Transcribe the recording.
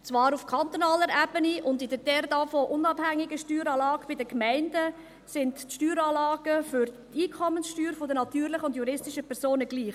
Zwar sind auf kantonaler Ebene und in der davon unabhängigen Steueranlage bei den Gemeinden die Steueranlagen für die Einkommenssteuer der natürlichen und der juristischen Personen gleich.